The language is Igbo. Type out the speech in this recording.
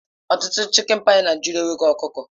Ọtụtụ chịkin páyi Naịjirịa enweghị ọkụkọ